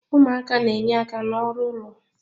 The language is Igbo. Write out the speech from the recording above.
Ụmụaka na-enye aka n'ọrụ ụlọ.